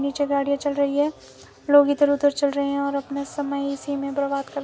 नीचे गाड़ियां चल रही है लोग इधर उधर चल रहे हैं और अपना समय इसी में बर्बाद कर--